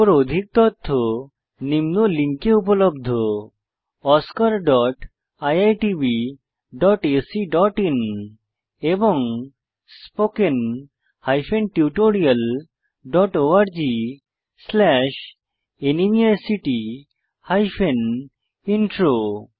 এর উপর অধিক তথ্য নিম্ন লিঙ্কে উপলব্ধ oscariitbacআইএন এবং spoken tutorialorgnmeict ইন্ট্রো